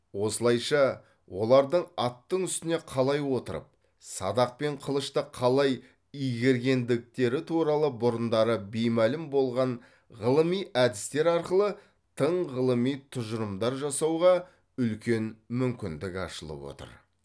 осылайша олардың аттың үстіне қалай отырып садақ пен қылышты қалай игергендіктері туралы бұрындары беймәлім болған ғылыми әдістер арқылы тың ғылыми тұжырымдар жасауға үлкен мүмкіндік ашылып отыр